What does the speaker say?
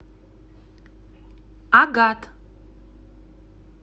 агат